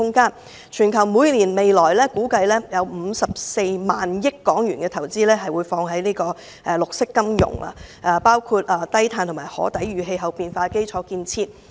估計全球未來每年會有54萬億港元投資在綠色金融，包括低碳及可抵禦氣候變化的基礎設施。